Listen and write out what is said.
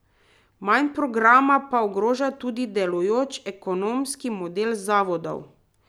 Manj programa pa ogroža tudi delujoč ekonomski model zavodov.